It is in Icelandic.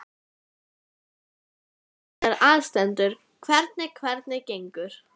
Aldrei villa í bók sem ég hef lesið prófarkir að.